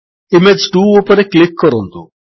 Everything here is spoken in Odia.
ଇମେଜ୍ 2 ଉପରେ କ୍ଲିକ୍ କରନ୍ତୁ